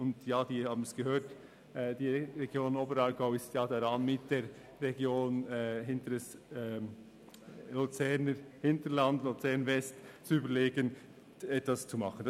Wie wir bereits gehört haben, ist die Region Oberaargau dabei, zusammen mit der Region Luzerner Hinterland – Luzern West zu überlegen, was diesbezüglich getan werden kann.